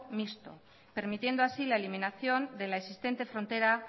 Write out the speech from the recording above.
mixto permitiendo así la eliminación de la existente frontera